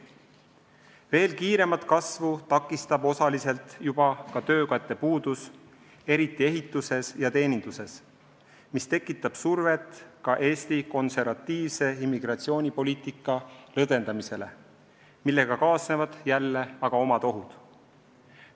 Veel kiiremat kasvu takistab osaliselt juba ka töökäte puudus, eriti ehituses ja teeninduses, mis tekitab survet ka Eesti konservatiivse immigratsioonipoliitika lõdvendamiseks, millega kaasnevad aga omad ohud.